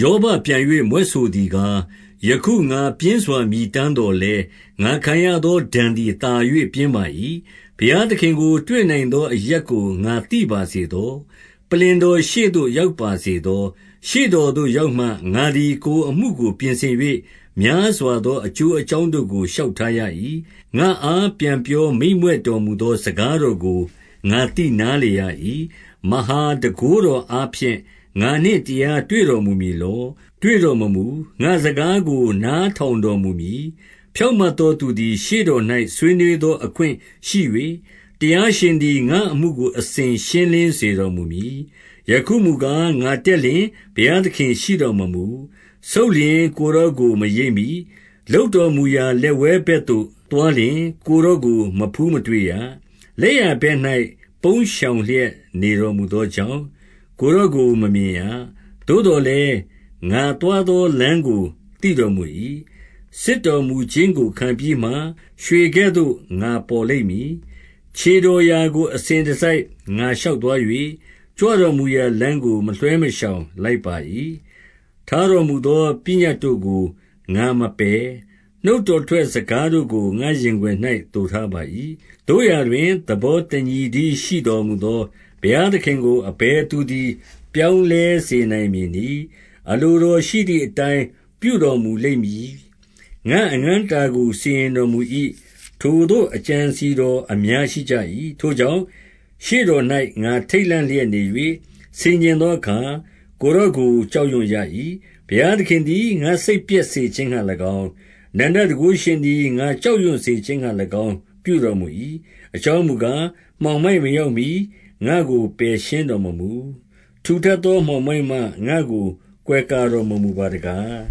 ယောဘပြန်၍ မြွက်ဆိုသည်ကား၊ ယခု ငါပြင်းစွာ မြည်တမ်းသော်လည်း၊ ငါခံရသောဒဏ်သည်သာ၍ ပြင်းပါ၏။ 3 ဘုရားသခင်ကိုတွေ့နိုင်သော အရပ်ကို ငါသိပါစေသော။ ပလ္လင်တော်ရှေ့သို့ ရောက်ပါစေသော။ 4 ရှေ့တော်သို့ရောက်မှ ငါသည် ကိုယ်အမှုကိုပြင်ဆင်၍၊ များစွာသောအကျိုးအကြောင်းတို့ကို လျှောက်ထားရ၏။ 5 ငါ့အားပြန်ပြောမိန့်မြွက်တော်မူသော စကားတော်ကို ငါသိနားလည်ရ၏။ 6 မဟာတန်ခိုးတော်အားဖြင့် ငါနှင့်တရား တွေ့တော်မူမည်လော။ တွေ့တော်မမူ။ ငါ့စကားကို နားထောင် တော်မူမည်။ 7 ဖြောင့်မတ်သောသူသည် ရှေ့တော်၌ဆွေးနွေးသော အခွင့်ရှိ၍၊ တရားရှင်သည် ငါ့အမှုကို အစဉ် ရှင်းလင်းစေတော်မူမည်။ 8 ယခုမူကား၊ ငါတက်လျှင် ဘုရားသခင်ရှိတော်မမူ။ ဆုတ်လျှင် ကိုယ်တော်ကို မရိပ်မိ၊ 9 လုပ်တော်မူရာ လက်ဝဲဘက်သို့သွားလျှင် ကိုယ်တော်ကို မဖူးမတွေ့ရ။ လက်ျာဘက်၌ ပုန်းရှောင် လျက် နေတော်မူသောကြောင့်၊ ကိုယ်တော်ကိုမမြင်ရ။ 10 သို့သော်လည်းငါသွားသောလမ်းကို သိတော်မူ၏။ စစ်တော်မူခြင်းကို ခံပြီးမှ၊ ရွှေကဲ့သို့ငါပေါ်လိမ့်မည်။ 11 ခြေတော်ရာကိုအစဉ်တစိုက် ငါရှောက်သွား၍၊ ကြွတော်မူရာလမ်းကို မလွှဲမရှောင်လိုက်ပါ၏။ 12 ထားတော်မူသော ပညတ်တို့ကို ငါမပယ်။ နှုတ်တော်ထွက် စကားတို့ကို ငါရင်ခွင်၌ သိုထားပါ၏။ 13 သို့ရာတွင် သဘောတညီတည်းရှိတော်မူသော ဘုရားသခင်ကို အဘယ်သူသည် ပြောင်းလဲစေနိုင်မည် နည်း။ အလိုတော်ရှိသည်အတိုင်း ပြုတော်မူလိမ့်မည်။ 14 ငါ့အငန်းအတာကို စီရင်တော်မူ၏။ ထိုသို့သော အကြံအစည်တော်အများရှိကြ၏။ 15 ထိုကြောင့်ရှေ့တော်၌ ငါထိတ်လန့်လျက်နေ၍ ဆင်ခြင်သောအခါ၊ ကိုယ်တော်ကိုကြောက်ရွံ့ရ၏။ 16 ဘုရားသခင်သည် ငါ့စိတ်ပျက်စေခြင်းငှါ၎င်း၊ အနန္တတန်ခိုးရှင်သည် ငါကြောက်ရွံ့စေခြင်းငှါ ပြုတော် မူ၏။ 17 အကြောင်းမူကား၊ မှောင်မိုက်မရောက်မှီ ငါ့ကို ပယ်ရှင်းတော်မမူ၊ ဝစူထပ်သောမှောင်မိုက်မှ ငါ့ကို ကွယ်ကာတော်မမူပါတကား